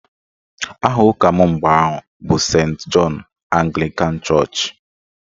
Aha ụka m mgbe ahụ bụ Sent Jọn Aglịkan chọọchị